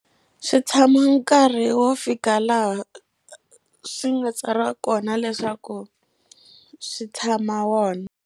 Swi tshama nkarhi wo fika laha swi nga tsariwa kona leswaku swi tshama wona.